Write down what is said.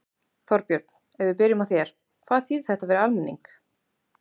Þorbjörn, ef við byrjum á þér, hvað þýðir þetta fyrir almenning?